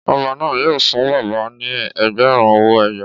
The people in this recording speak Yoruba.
Ọba náà yóò fún bàbá náà ní ẹgbẹ̀rún owó ẹyọ